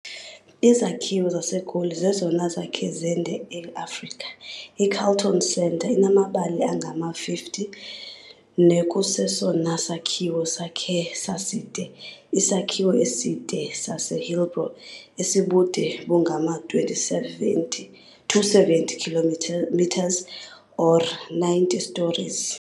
Izakhiwo zaseGoli zezona zakhe zande e-Afrika, i-Carlton Centre, inamabali angama-50, nekusesona sakhiwo sakhe saside, isakhiwo eside saseHillbrow, esibude bungama-2070, 270 metres, or 90 stories.